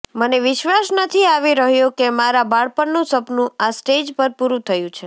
મને વિશ્વાસ નથી આવી રહ્યો કે મારા બાળપણનું સપનું આ સ્ટેજ પર પૂરુ થયું છે